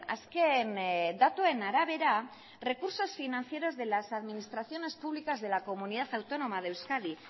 azken datuen arabera recursos financieros de las administraciones públicas de la comunidad autónoma de euskadi